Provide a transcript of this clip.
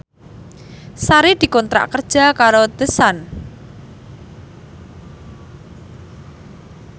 Sari dikontrak kerja karo The Sun